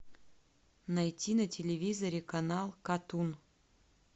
найти на телевизоре канал катун